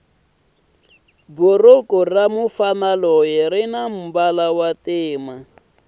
bhuruku ramufana loyi rinambala wontima